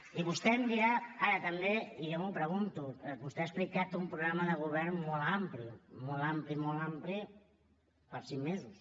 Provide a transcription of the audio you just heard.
i vostè em dirà ara també i jo m’ho pregunto vostè ha explicat un programa de govern molt ampli molt ampli molt ampli per a cinc mesos